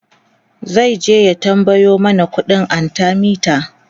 zaije ya tambayo mana ƙuɗin arthemeter